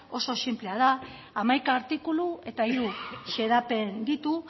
oso sinplea da hamaika artikulu eta hiru xedapen ditu